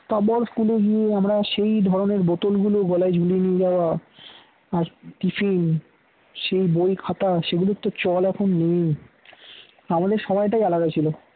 school এ গিয়ে আমরা সেই ধরনের বোতলগুলো গলায় ঝুলিয়ে নিয়ে যাওয়া আর tiffin সে বই খাতা সেগুলোর তো চল এখন নেই আমাদের সময়টাই আলাদা ছিল